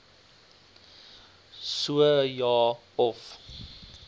so ja of